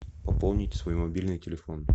пополнить свой мобильный телефон